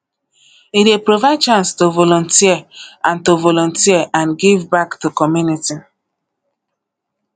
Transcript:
e dey provide chance to volunteer and to volunteer and give back to community